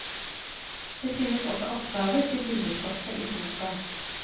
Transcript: Det finnes også oppgaver til bildestoffet i boka.